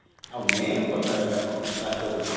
ଆଉ main କଥା ରହିଲା କଣ ବାସଗୃହ